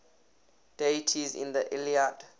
deities in the iliad